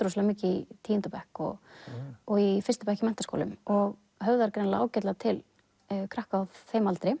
mikið í tíunda bekk og og í fyrsta bekk í menntaskólum og höfðar greinilega ágætlega til krakka á þeim aldri